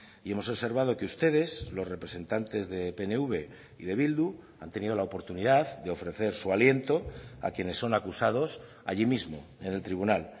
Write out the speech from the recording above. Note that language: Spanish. y hemos observado que ustedes los representantes de pnv y de bildu han tenido la oportunidad de ofrecer su aliento a quienes son acusados allí mismo en el tribunal